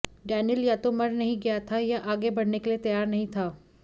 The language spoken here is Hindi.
डैनियल या तो मर नहीं गया था या आगे बढ़ने के लिए तैयार नहीं था